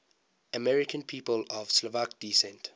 american people of slovak descent